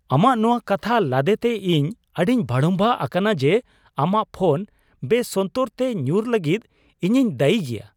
ᱟᱢᱟᱜ ᱱᱚᱶᱟ ᱠᱟᱛᱷᱟ ᱞᱟᱫᱮ ᱛᱮ ᱤᱧ ᱟᱹᱰᱤᱧ ᱵᱷᱟᱲᱩᱢᱵᱟᱜ ᱟᱠᱟᱱᱟ ᱡᱮ, ᱟᱢᱟᱜ ᱯᱷᱚᱱ ᱵᱮᱥᱚᱱᱛᱚᱨ ᱛᱮ ᱧᱩᱨ ᱞᱟᱹᱜᱤᱫ ᱤᱧᱤᱧ ᱫᱟᱹᱭᱤ ᱜᱮᱭᱟ ᱾